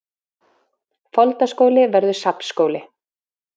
Foldaskóli verður safnskóli